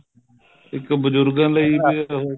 ਇੱਕ ਬਜੁਰਗਾਂ ਲਈ ਵੀ ਹੈਗਾ ਹੈ